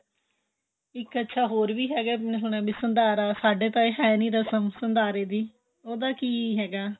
ਇੱਕ ਅੱਛਿਆ ਹੋਰ ਵੀ ਹੈਗਾ ਵੀ ਸੰਧਾਰਾ ਸਾਡੇ ਤਾਂ ਇਹ ਹੈ ਨੀ ਰਸਮ ਸੰਧਾਰੇ ਦੀ ਉਹਦਾ ਕੀ ਹੈਗਾ